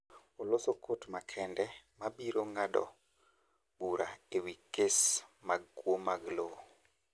Oloso kot makende ma biro ng’ado bura e wi kes mag kwo mag lowo.